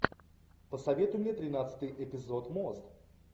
посоветуй мне тринадцатый эпизод мост